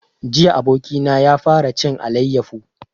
Jiya abokina ya fara cin alayyafo